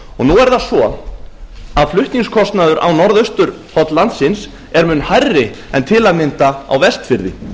nú er það svo að flutningskostnaður á norðausturhorn landsins er mun hærri en til að mynda á vestfirði